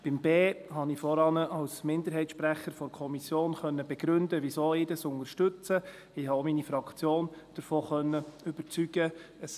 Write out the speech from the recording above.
Bei b habe ich vorhin als Minderheitssprecher der Kommission begründen können, weshalb ich diesen unterstütze, und ich habe auch meine Fraktion davon überzeugen können.